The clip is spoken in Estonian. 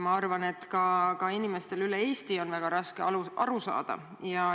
Ma arvan, et ka inimestel üle Eesti on sellest raske aru saada.